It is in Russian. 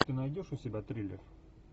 ты найдешь у себя триллер